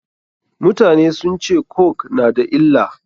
Mutane sun ce coke na da illa.